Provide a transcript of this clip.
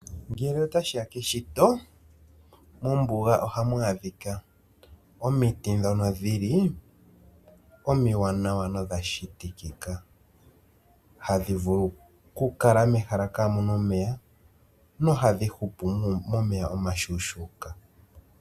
Ngele otashi keshito, mombuga ohamu adhika omiti ndhono dhili omiwanawa nodha shitikika, hadhi vulu kukala mehala kaamuna omeya nohadhi hupu momeya omashuushuuka.